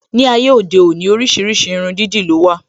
Ní ayé òde òní, oríṣiríṣi irun dídì ló wà